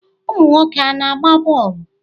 Ụmụ nwoke a na-agba bọọlụ?